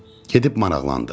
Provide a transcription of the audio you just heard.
Gedib maraqlandıq.